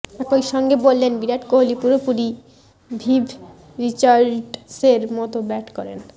একইসঙ্গে বললেন বিরাট কোহলি পুরোপুরি ভিভ রিচার্ডসের মত ব্যাট করেন